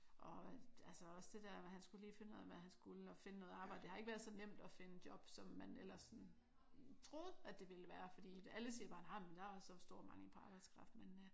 Og altså også det der med han skulle lige finde ud af hvad han skulle og finde noget arbejde. Det har ikke været så nemt at finde job som man ellers sådan troede at det ville være fordi alle siger bare nej men der er sådan stor mangel på arbejdskraft men øh